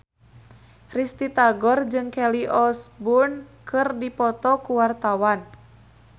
Risty Tagor jeung Kelly Osbourne keur dipoto ku wartawan